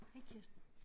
Hej Kirsten